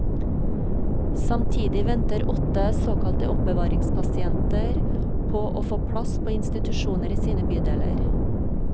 Samtidig venter åtte såkalte oppbevaringspasienter på å få plass på institusjoner i sine bydeler.